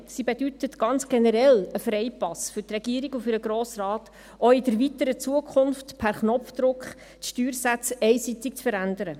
Sie bedeutet ganz generell einen Freipass für die Regierung und den Grossen Rat, die Steuersätze auch in der weiteren Zukunft per Knopfdruck einseitig zu verändern.